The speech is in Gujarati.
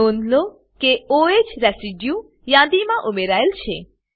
નોંધ લો કે o હ રેસિડ્યુ યાદી માં ઉમેરાયેલ છે